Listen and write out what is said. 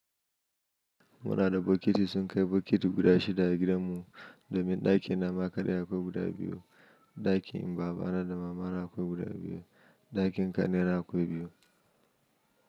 Muna da bokiti, sun kai bokiti guda shida a gidanmu domin ɗakin nama kaɗai akwai guda biyu, ɗakin babana da mamana akwai guda biyu, ɗakin kanina akwai biyu.